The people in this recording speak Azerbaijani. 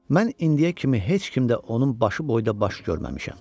Mən indiyə kimi heç kimdə onun başı boyda baş görməmişəm.